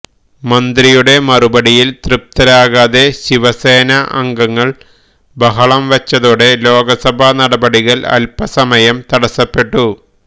മന്ത്രിയുടെ മറുപടിയിൽ തൃപ്തരാകാതെ ശിവസേന അംഗങ്ങൾ ബഹളം വെച്ചതോടെ ലോക്സഭാ നടപടികൾ അൽപസമയം തടസപ്പെട്ടു